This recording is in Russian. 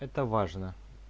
это важно